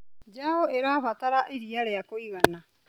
Njaũ ĩrabatara iria ria kũigana.